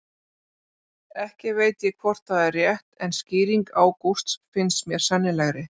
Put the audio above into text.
Ekki veit ég hvort það er rétt en skýring Ágústs finnst mér sennilegri.